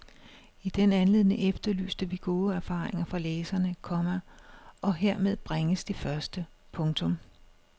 I den anledning efterlyste vi gode erfaringer fra læserne, komma og hermed bringes de første. punktum